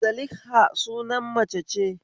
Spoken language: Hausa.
Zalikha suna mace ce